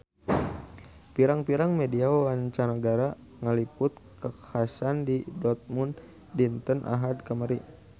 Pirang-pirang media mancanagara ngaliput kakhasan di Dortmund dinten Ahad kamari